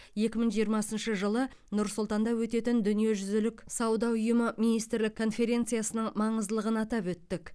екі мың жиырмасыншы жылы нұр сұлтанда өтетін дүниежүзілік сауда ұйымы министрлік конференциясының маңыздылығын атап өттік